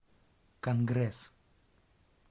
конгресс